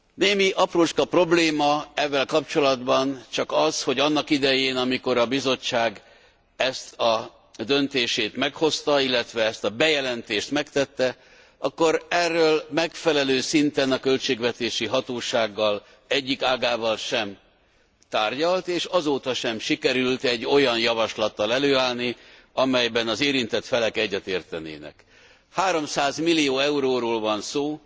Némi aprócska probléma evvel kapcsolatban csak az, hogy annak idején, amikor a Bizottság ezt a döntését meghozta, illetve ezt a bejelentést megtette, akkor erről megfelelő szinten a költségvetési hatóság egyik ágával sem tárgyalt, és azóta sem sikerült egy olyan javaslattal előállni, amelyben az érintett felek egyetértenének. 300 millió euróról van szó,